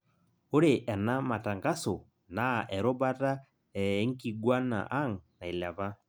ore ena matangaso naa erubata ee nkiguana ang' nailepa